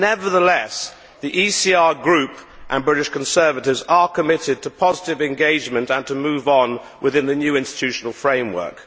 Nevertheless, the ECR Group and British Conservatives are committed to positive engagement and to moving on within the new institutional framework.